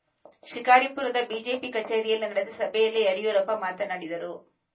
ಶಿಕಾರಿಪುರದ ಬಿಜೆಪಿ ಕಚೇರಿಯಲ್ಲಿ ನಡೆದ ಸಭೆಯಲ್ಲಿ ಯಡಿಯೂರಪ್ಪ ಮಾತನಾಡಿದರು